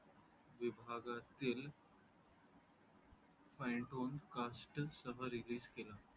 विभागातील Finetone Cassets सह release केला